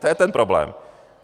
To je ten problém.